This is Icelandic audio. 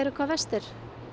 hvað verstir